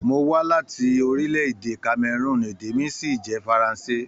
Mó wa láti orílẹ̀-èdè Kameroon, èdè mí sì jẹ faranse.